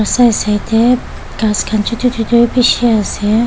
side side tey khas khan chutu chutu beshe ase.